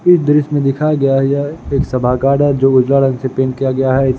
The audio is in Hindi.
इस दृश्य में दिखाया गया है यह एक सभा है जो उजला रंग से पेंट किया गया है।